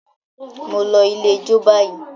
mọ ló ilẹ̀ ijọ bayí!